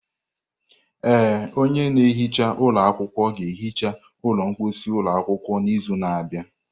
Ee, onye na-ehicha ụlọ akwụkwọ ga-ehicha ụlọ mposi ụlọ akwụkwọ n'izu na-abịa.